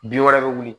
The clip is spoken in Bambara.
Bin wɛrɛ bɛ wuli